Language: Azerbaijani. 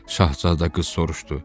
Şahzadə qız soruşdu.